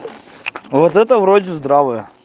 вот это вроде здравое